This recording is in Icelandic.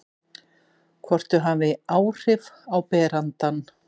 Hvort þau hafi áhrif á berandann.